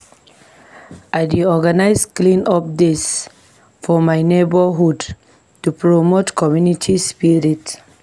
I dey organize clean-up days for my neighborhood to promote community spirit.